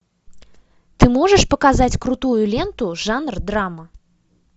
ты можешь показать крутую ленту жанр драма